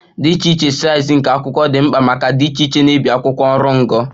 Dị iche iche size nke akwụkwọ dị mkpa maka dị iche iche na-ebi akwụkwọ oru ngo